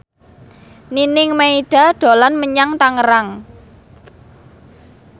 Nining Meida dolan menyang Tangerang